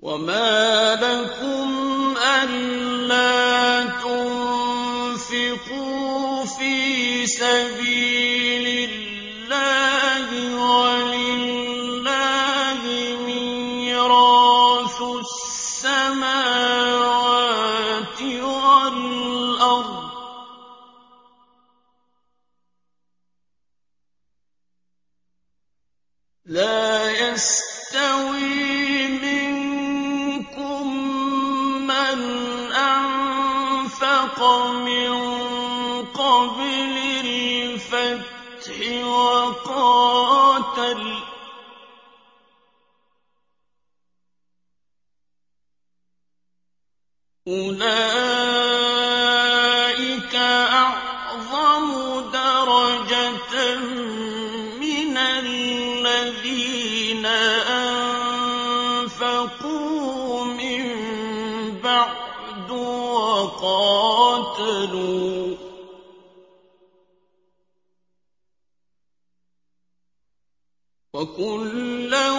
وَمَا لَكُمْ أَلَّا تُنفِقُوا فِي سَبِيلِ اللَّهِ وَلِلَّهِ مِيرَاثُ السَّمَاوَاتِ وَالْأَرْضِ ۚ لَا يَسْتَوِي مِنكُم مَّنْ أَنفَقَ مِن قَبْلِ الْفَتْحِ وَقَاتَلَ ۚ أُولَٰئِكَ أَعْظَمُ دَرَجَةً مِّنَ الَّذِينَ أَنفَقُوا مِن بَعْدُ وَقَاتَلُوا ۚ وَكُلًّا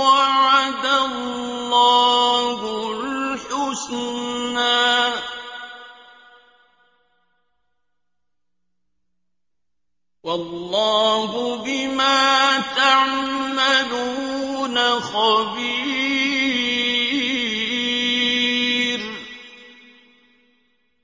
وَعَدَ اللَّهُ الْحُسْنَىٰ ۚ وَاللَّهُ بِمَا تَعْمَلُونَ خَبِيرٌ